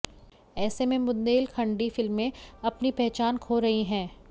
ऐसे में बुंदेलखंडी फिल्में अपनी पहचान खो रही हैं